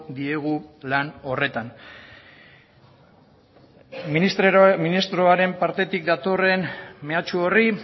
diegu lan horretan ministroaren partetik datorren mehatxu horri